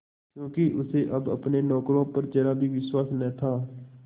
क्योंकि उसे अब अपने नौकरों पर जरा भी विश्वास न था